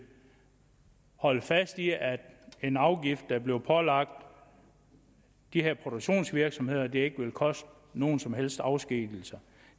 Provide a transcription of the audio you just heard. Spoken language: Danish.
holde fast i at en afgift der bliver pålagt de her produktionsvirksomheder ikke vil koste nogen som helst afskedigelser